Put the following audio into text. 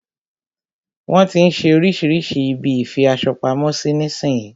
Wọn tí ń ṣe oríṣirísi ibi ìfi aṣo pamo sí nísin yí.